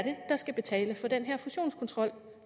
der skal betale for den her fusionskontrol